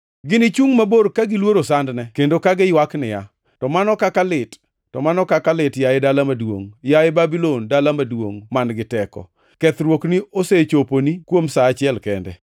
Ginichungʼ mabor ka giluoro sandne kendo ka giywak niya, “ ‘To mano kaka lit! To mano kaka lit! Yaye dala maduongʼ. Yaye Babulon, dala maduongʼ man-gi teko! Kethruokni osechoponi kuom sa achiel kende!’ ”